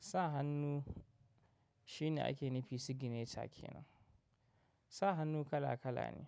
Sa hannu shine ake nufi sigineca ke nan. Sa hannu kala kala ne.